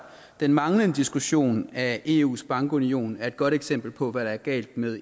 den manglende diskussion af eus bankunion er et godt eksempel på hvad der er galt med